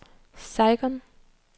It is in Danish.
Saigon